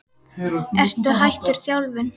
Ertu hættur þjálfun?